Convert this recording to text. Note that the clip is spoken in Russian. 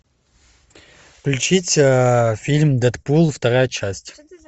включить фильм дэдпул вторая часть